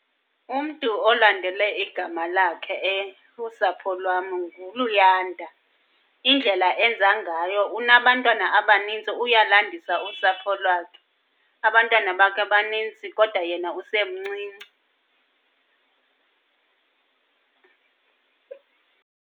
Umntu olandele igama lakhe kusapho lwam nguLuyanda. Indlela enza ngayo unabantwana abanintsi, uyalandisa usapho lwakhe. Abantwana bakhe banintsi kodwa yena usemncinci.